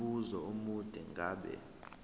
umbuzo omude ngabe